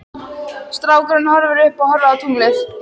Strákurinn horfir upp og horfir á tunglið.